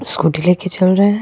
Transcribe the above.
Scooty लेके चल रहे हैं।